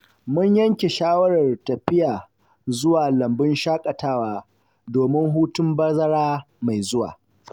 Mun yanke shawarar tafiya zuwa lambun shakatawa domin hutun bazara mai zuwa.